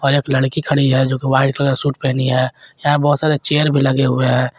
और एक लड़की खड़ी है जो कि व्हाइट कलर सूट पहनी है यहां बहोत सारे चेयर भी लगे हुए हैं।